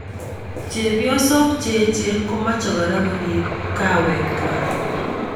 Chepiosok che echen ko meche kora korip ing kawek kwak.